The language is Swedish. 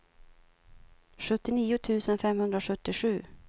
sjuttionio tusen femhundrasjuttiosju